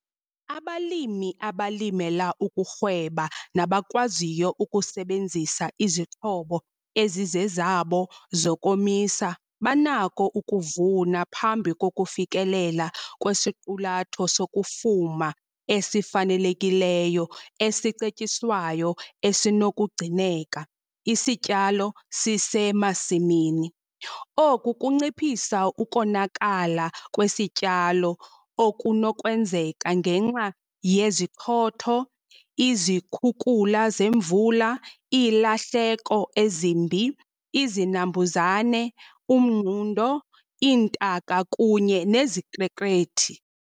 Abalimi abalimela ukurhweba nabakwaziyo ukusebenzisa izixhobo ezizezabo zokomisa banako ukuvuna phambi kokufikelela kwisiqulatho sokufuma esifanelekileyo esicetyiswayo esinokugcineka, isityalo sisemasimini. Oku kunciphisa ukonakala kwesityalo okunokwenzeka ngenxa yezichotho, izikhukula zemvula, iilahleko ezimbi, izinambuzane, umngundo, iintaka kunye nezikrekrethi.